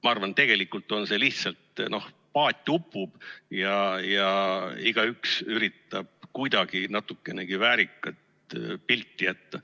Ma arvan, et tegelikult lihtsalt paat upub ja igaüks üritab kuidagi natukenegi väärikat pilti jätta.